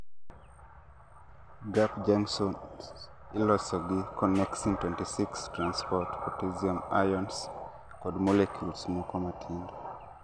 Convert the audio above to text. gaap junctions iloso gi connexin 26 transport potassium ions kod molecules moko matindo